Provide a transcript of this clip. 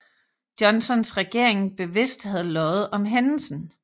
Johnsons regering bevidst havde løjet om hændelsen